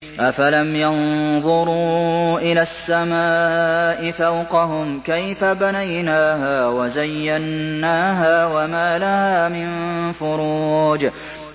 أَفَلَمْ يَنظُرُوا إِلَى السَّمَاءِ فَوْقَهُمْ كَيْفَ بَنَيْنَاهَا وَزَيَّنَّاهَا وَمَا لَهَا مِن فُرُوجٍ